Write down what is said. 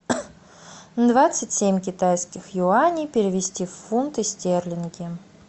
двадцать семь китайских юаней перевести в фунты стерлинги